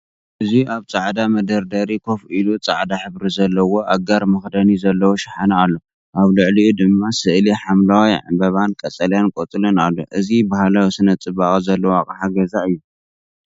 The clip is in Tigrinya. እዚ ኣብ ጻዕዳ መደርደሪ ኮፍ ኢሉ ጻዕዳ ሕብሪ ዘለዎ ኣጋር መኽደኒ ዘለዎ ሻሓነ ኣሎ። ኣብ ልዕሊኡ ድማ ስእሊ ሐምላይ ዕምባባን ቀጠልያ ቆጽልን ኣሎ። እዚ ባህላዊ ስነ-ጽባቐ ዘለዎ ኣቅሓ ገዛ 'ዩ።